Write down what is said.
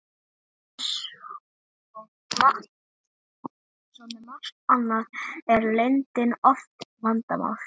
eins og með margt annað er leyndin oft vandamál